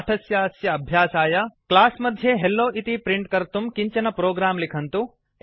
पाठस्यास्य अभ्यासाय क्लास् मध्ये हेल्लो इति प्रिंट् कर्तुं किञ्चन प्रोग्राम् लिखन्तु